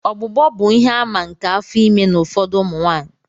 Ọgbụgbọ bụ ihe-àmà nke afọ ime n'ụfọdụ ụmụ nwanyị.